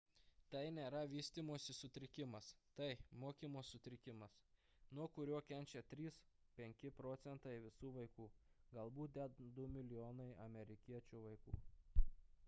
tai nėra vystymosi sutrikimas tai – mokymosi sutrikimas nuo kurio kenčia 3–5 proc. visų vaikų galbūt net 2 mln amerikiečių vaikų